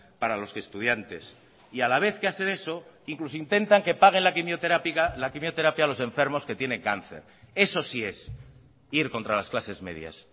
para los estudiantes y a la vez que hacen eso incluso intentan que paguen la quimioterapia los enfermos que tienen cáncer eso sí es ir contra las clases medias